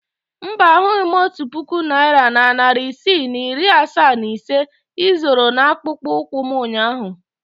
Mba, ahụghị m otu puku naira na narị isii na iri asaa na ise ị zoro n'akpụkpọ ụkwụ m ụnyahụ.